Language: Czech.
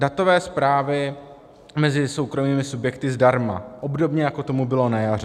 Datové zprávy mezi soukromými subjekty zdarma, obdobně jako tomu bylo na jaře.